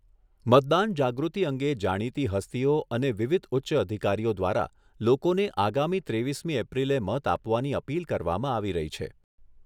મતદાન જાગૃતિ અંગે જાણીતી હસ્તીઓ અને વિવિધ ઉચ્ચ અધિકારીઓ દ્વારા લોકોને આગામી ત્રેવીસમી એપ્રિલે મત આપવાની અપીલ કરવામાં આવી રહી છે.